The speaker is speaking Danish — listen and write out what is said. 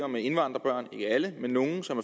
med indvandrerbørn ikke alle men nogle som